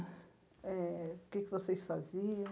Eh o que é que vocês faziam?